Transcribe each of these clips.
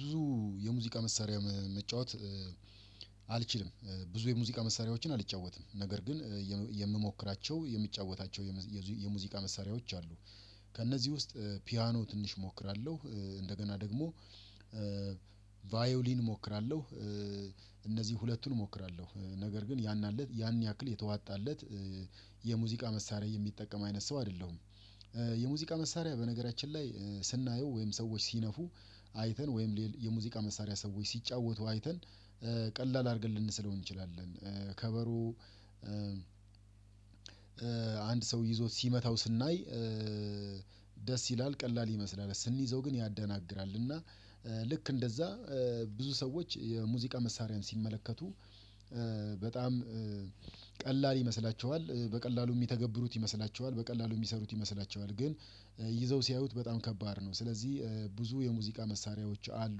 ብዙ የሙዚቃ መሳሪያ መጫወት አልችልም ብዙ የሙዚቃ መሳሪያዎችን አልጫወትም ነገር ግን የምሞክራቸው የምጫወታቸው የሙዚቃ መሳሪያዎች አሉ ከእነዚህ ውስጥ ፒያኖ ትንሽ እሞክራለሁ እንደገና ደግሞ ቫዮሊን እሞክራለሁ እነዚህ ሁለቱን እሞክራለሁ፤ ነገር ግን ያን አለት ያን ያክል የተዋጣለት የሙዚቃ መሳሪያ የሚጠቀም አይነት ሰው አይደለሁም የሙዚቃ መሳሪያ በነገራችን ላይ ስናየው ወይም ሰዎች ሲነፉ አይተን ወይም የሙዚቃ መሳሪያ ሰዎች ሲጫወቱ አይተን ቀላል አድርገን ልንሰለው እንችላለን፤ ከበሮ አንድ ሰው ይዞ ሲመታው ስናይ ደስ ይላል ቀላል ይመስላል ስንይዘው ግን ያደናግራል እና ልክ እንደዛ ብዙ ሰዎች የሙዚቃ መሳሪያን ሲመለከቱ በጣም ቀላል ይመስላቸዋል በቀላሉ የሚተገብሩት ይመስላቸዋል በቀላሉ የሚሰሩት ይመስላቸዋል ግን ይዘው ሲያዩት በጣም ከባድ ነው ስለዚህ ብዙ የሙዚቃ መሳሪያዎች አሉ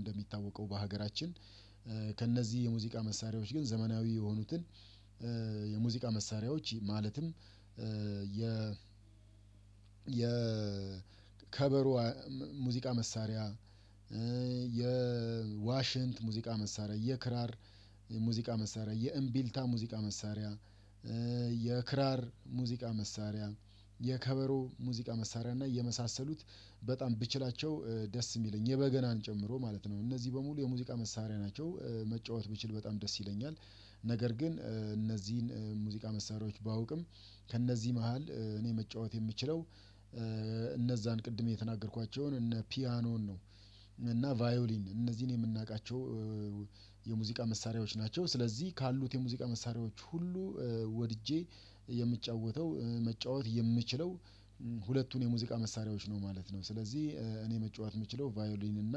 እንደሚታወቀው በሀገራችን ከእነዚህ የሙዚቃ መሳሪያዎች ግን ዘመናዊ የሆኑትን የሙዚቃ መሳሪያዎች ማለትም የ የ ሙዚቃ መሳሪያ፣ የዋሽንት ሙዚቃ መሳሪያ፤ የክራር ሙዚቃ መሳሪያ፣ የእምቢልታ ሙዚቃ መሳሪያ የክራር ሙዚቃ መሳሪያ የከበሮ ሙዚቃ መሳሪያ እና የመሳሰሉት በጣም ብችላቸው ደስ የሚለኝ የበገናን ጨምሮ ማለት ነው እነዚህ በሙሉ የሙዚቃ መሳሪያ ናቸው መጫወት ብችል በጣም ደስ ይለኛል ነገር ግን እነዚህን ሙዚቃ መሳሪያዎች ባውቅም ከእነዚህ መሃል እኔ መጫወት የምችለው እነዛን ቅድም የተናገርኳቸውን እነ ፒያኖን ነው እና ቫዮሊን እነዚህን የምናውቃቸው የሙዚቃ መሳሪያዎች ናቸው ስለዚህ ካሉት የሙዚቃ መሳሪያዎች ሁሉ ወድጄ የምጫወተው መጫወት የምችለው ሁለቱን የሙዚቃ መሳሪያዎች ነው ማለት ነው፤ ስለዚህ እኔ መጫወት የምችለው ቫዮሊን እና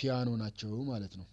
ፒያኖ ናቸው ማለት ነው።